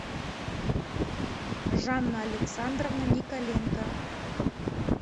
жанна александровна николенко